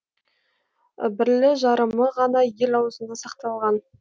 бірлі жарымы ғана ел аузында сақталған